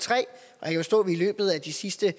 de sidste